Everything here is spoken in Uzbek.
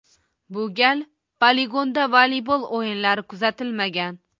Bu gal poligonda voleybol o‘yinlari kuzatilmagan.